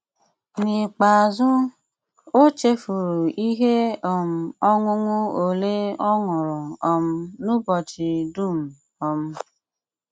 N'íkpéázú, ó chéfúrú íhé um ọṅụṅụ ólé ó ṅúrú um n'úbọ́chí dúm um.